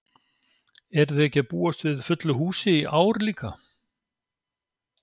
Eruð þið ekki að búast við fullu húsi í ár líka?